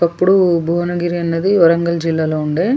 ఒకప్పుడు భువనగిరి అన్నది వరంగల్ జిల్లాలో ఉండే.